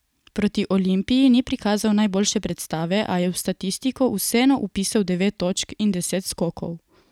Proti Olimpiji ni prikazal najboljše predstave, a je v statistiko vseeno vpisal devet točk in deset skokov.